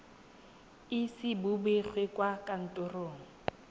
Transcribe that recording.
ise bo begwe kwa kantorong